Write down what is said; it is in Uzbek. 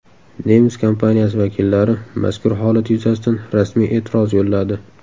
Nemis kompaniyasi vakillari mazkur holat yuzasidan rasmiy e’tiroz yo‘lladi.